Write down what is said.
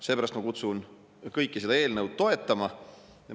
Seepärast ma kutsun kõiki üles seda eelnõu toetama.